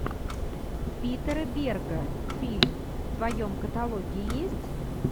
питер берга фильм в твоем каталоге есть